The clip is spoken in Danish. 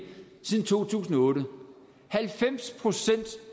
siden to tusind og otte halvfems procent